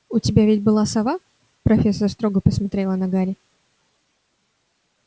у тебя ведь была сова профессор строго посмотрела на гарри